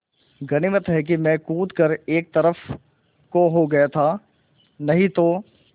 गनीमत है मैं कूद कर एक तरफ़ को हो गया था नहीं तो